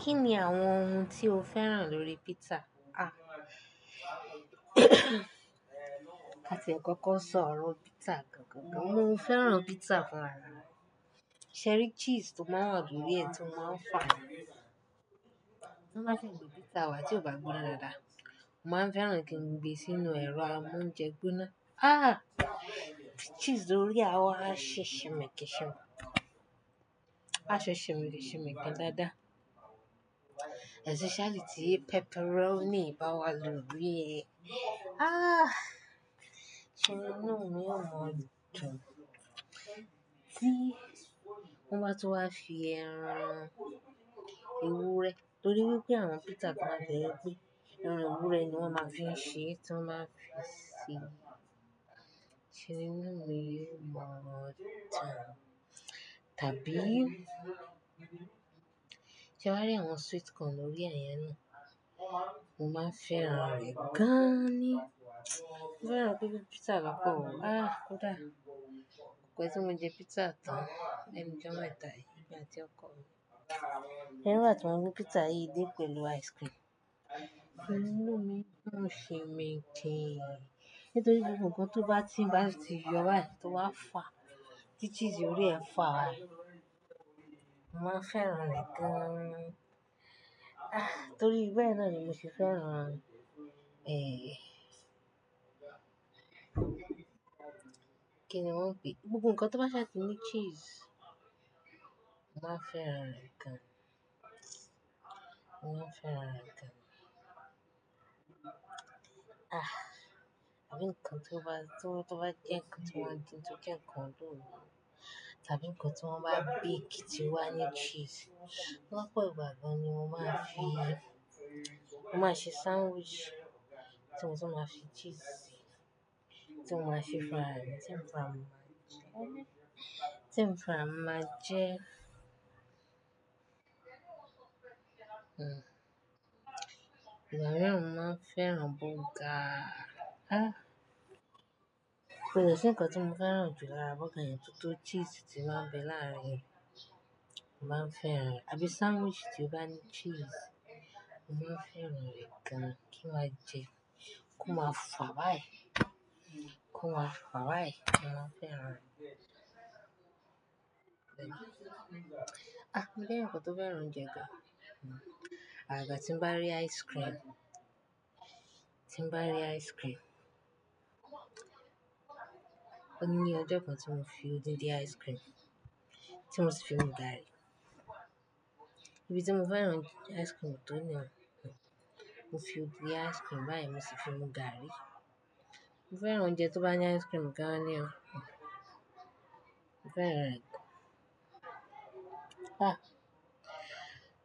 Kí ni àwọn ohun tí o fẹ́ràn lórí pizza? A kàti ẹ kọ́kọ́ sọ ọ̀rọ̀ pizza gan-gan gan. Mo fẹ́ràn pizza fún ra mi. Ṣẹ̀rí cheese tó máa ń wà lórí rẹ̀ tó máa ń fà. Tí wọ́n bá si gbé pizza wa tí ó bá gbóná dáadáa. Mo máa fẹ́ràn kí n gbé e sínú ẹ̀rọ amóúnjẹ gbóná. Ah! Cheese lórí rẹ̀ a wa ṣi ṣi mi kì ṣi mi. A ṣe ṣi mi kì ṣi mi dáadáa. Especially tí pepperoni bá wà lórí ẹ. Ah! Se ni inú mi ò mọ̀ dùn. Tí wọ́n bá tún wá fi ẹran ewúrẹ́, torí wípé àwọn pizza kan n bẹ wípé ẹran ewúrẹ́ ni wón máa fi ń ṣe é tí wọ́n máa ń fi ṣi. Ṣé nínú mi yíò mọ̀ dùn? Tàbí sé ẹ wá rí àwọn sweet corn lórí ẹ̀ yẹn náà, mo máa fẹ́ràn rẹ̀ gan-an ni. Mo fẹ́ràn gbogbo pizza lópò òo. Ah! Kódà kò pẹ́ tí mo jẹ pizza tán, lẹ́nu ọjọ mẹ̀ta yìí èmi àti ọkọ mi. Ṣe ẹri ìgbá ti wón gbé pizza yìí dé pẹ̀lú ice cream, inú mi duń sìnmikín. Nítorí pé gbogbo nǹkan tó bá ti ń bá ti yọ bá yìí, tí ó bá fà, tí cheese órí rẹ̀ fà báyìí, mo máa n fẹ́ràn rẹ̀ gan-an. Ah! Torí bẹ́ẹ̀ náà ni mo sì fẹ́ràn ẹ. Kí ni wọ́n ń pe e? Gbogbo nǹkan tó bá ṣáti ní cheese, mo máa n fẹ́ràn rẹ̀ gan. Mo máa n fẹ́ràn rẹ̀ gan. Ah! Àbí nǹkan tí ó bá to to ba je nǹkan, tí wọ́n bá wán ba dín tó jẹ́ nkán although. Tàbí ǹkan tí wọ́n bá bake tí ó wà ní cheese. Lọ́pọ̀ ìgbà gan-an ni mo máa fi, mo máa ṣe sandwich tí mo sì máa fi cheese sí i. Tí mo máa se fún ra mi, tí èmi fúnra mi, tí èmi fúnra mi máa jẹ. Ìgbà miiiran mo maa n fẹ́ràn bọ́ọ̀gaá. Ah! Kò dẹ̀ sì nǹkan tí mo fẹ́ràn jù lára bọ́ọ̀gá yẹn, tótó cheese ti máa ń bẹ láàárín rẹ̀, mo máa fẹ́ràn rẹ̀. Àbí sandwich tí ó bá ní cheese, mo máa n fẹ́ràn rẹ̀ gan kí n máa jẹ, kó máa fà báyìí, kó máa fà báyìí, mo máa fẹ́ràn rẹ̀. Ah! Mo jẹ́ èèyàn kan tó fẹ́ràn oúnjẹ gan-an. Àgàgà tí ń bá rí ice cream, tí ń bá rí ice cream. Ó ní i ọjọ kan tí mo fi òdindí ice cream, tí mo ṣì fi mú gààrí. Ibí tí mo fẹ́ràn ice cream tó nìyẹn, mo fi òdidi ice cream báyìí mo sì fi mú gààrí. Mo fẹ́ràn oúnjẹ tó bá ní ice cream gan-an ní o. Mo fẹ́ràn rẹ̀ gan-an. Ah!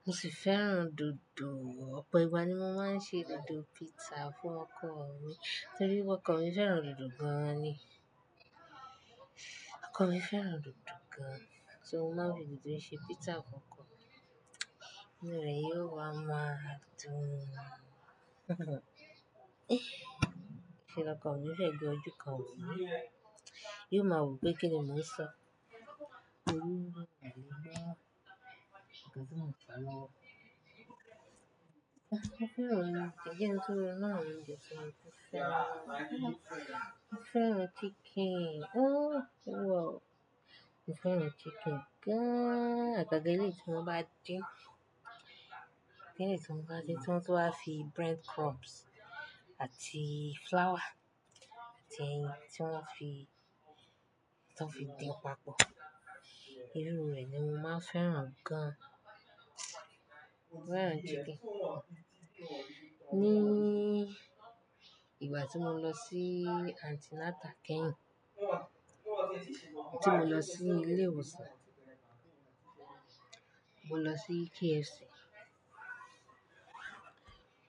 Mo sì fẹ́ràn dòdò. Ọ̀pọ̀ ìgbà ni mo máa ń ṣe dòdò pizza fún ọkọ mi, torí pé ọkọ mi fẹ́ràn dòdò gan-an ni. Ọkọ mi fẹ́ràn dòdò gan-an, ṣo o mo máa n fi dòdò ṣe pizza fún ọkọ mi? Inú rẹ̀ yóò wa máa dùn. N ṣe ní ọkọ mi n fi ẹ̀gbẹ́ ojú kan wò mí. Yóò máa wo pé kín ni mo n ṣọ. Ki n fa e lowo. Mo fẹ́ràn chicken, o oluwa ooo, mo fẹ́ràn chicken gan. Hun. Àgàgà eleyii tí wọ́n bá din. Eleyii tí wọ́n bá din tí wọ́n tun wa fi bread crumbs àti flour, atí ẹyin tí wọ́n fi, tí wọ́n fi din papọ̀. Irú rẹ̀ ni mo máa fẹ́ràn gan-an. Mo fẹ́ràn chicken. Ni ìgbà tí mo lọ sí anti natal kẹ́yìn, tí mo lọ sí ilé ìwòsàn, mo lọ sí KFC,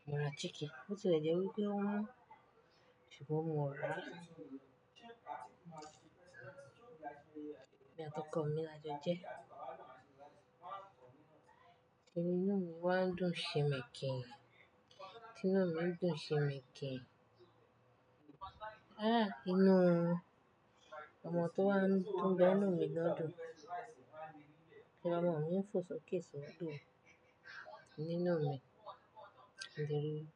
mo ra chicken. Bó ti lẹ̀ jẹ́ wípé o wọ́n, ṣùgbọ́n mo ra a. Èmi àti ọkọ mi la jọ jẹ ẹ́. Inú mi wá ń dùn ṣi min kín. Ti inú mi ń dùn ṣinmikin. Ah! Inú ọmọ tó wá ń dùn, to ń bẹ nínú mi gan-an dùn. Ṣé ni ọmọ mi ń fo soké sódò nínú mi, mo dẹrí wípé?